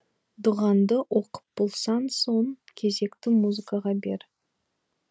дұғаңды оқып болсаң соң кезекті музыкаға бер